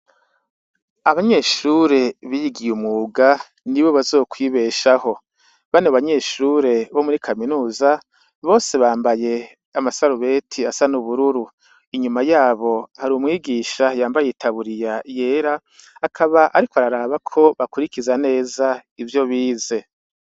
Abanyeshuri bigiye umwuga nibo bazokwibeshaho, bano banyeshure bo muri kaminuza bose bambaye amasarubeti asa n'ubururu, inyuma yabo har 'umwigisha yambaye itaburiya yera ,akaba ariko araraba ko bakurikiza neza ivyo bize.